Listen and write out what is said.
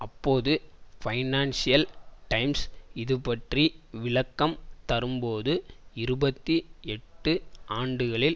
அப்போது Financial Times இதுபற்றி விளக்கம் தரும்போது இருபத்தி எட்டு ஆண்டுகளில்